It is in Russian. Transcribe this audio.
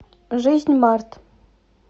жизньмарт